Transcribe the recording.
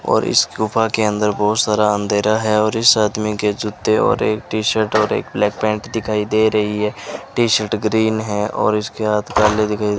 और इस गुफा के अंदर बहुत सारा अंधेरा है और इस आदमी के जूते और एक टी-शर्ट और एक ब्लैक पैंट दिखाई दे रही है टी-शर्ट ग्रीन है और इसके हाथ काले दिखाई --